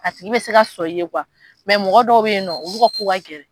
A tigi bɛ se ka sɔn i ye wa mɔgɔ dɔw bɛ yen nɔ olu ka ko ka gɛlɛn